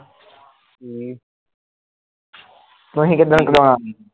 ਤੁਸੀਂ ਕਿੱਦਣ ਕਰਾਉਣਾ